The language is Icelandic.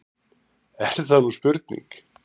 Er það nú spurning!